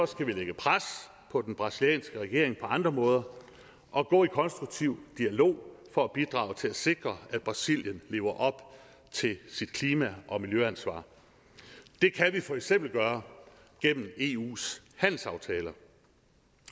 skal vi lægge pres på den brasilianske regering på andre måder og gå i konstruktiv dialog for at bidrage til at sikre at brasilien lever op til sit klima og miljøansvar det kan vi for eksempel gøre gennem eus handelsaftaler